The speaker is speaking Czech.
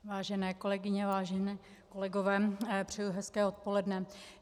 Vážené kolegyně, vážení kolegové, přeji hezké odpoledne.